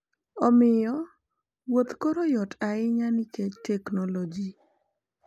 Omiyo, wuoth ​​koro yot ahinya nikech teknolojia.